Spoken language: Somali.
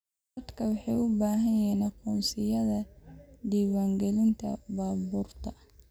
Dadku waxay u baahan yihiin aqoonsiyada diiwaangelinta baabuurta.